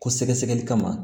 Ko sɛgɛsɛgɛli kama